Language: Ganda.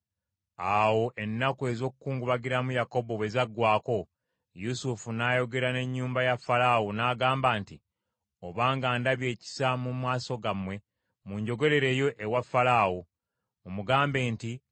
Awo ennaku ez’okukungubagiramu Yakobo bwe zaggwaako, Yusufu n’ayogera n’ennyumba ya Falaawo, n’agamba nti, “Obanga ndabye ekisa mu maaso gammwe munjogerereyo ewa Falaawo. Mumugambe nti,